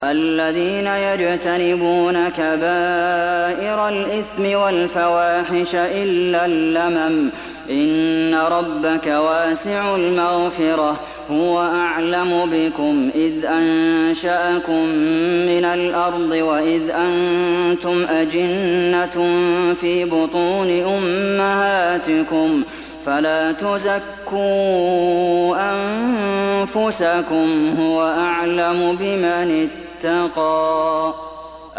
الَّذِينَ يَجْتَنِبُونَ كَبَائِرَ الْإِثْمِ وَالْفَوَاحِشَ إِلَّا اللَّمَمَ ۚ إِنَّ رَبَّكَ وَاسِعُ الْمَغْفِرَةِ ۚ هُوَ أَعْلَمُ بِكُمْ إِذْ أَنشَأَكُم مِّنَ الْأَرْضِ وَإِذْ أَنتُمْ أَجِنَّةٌ فِي بُطُونِ أُمَّهَاتِكُمْ ۖ فَلَا تُزَكُّوا أَنفُسَكُمْ ۖ هُوَ أَعْلَمُ بِمَنِ اتَّقَىٰ